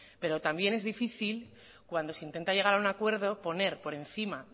pero también es difícil cuando se intenta llegar a un acuerdo poner por encima